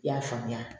I y'a faamuya